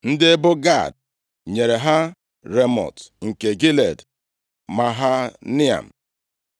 Ndị ebo Gad nyere ha Ramọt nke Gilead, Mahanaim,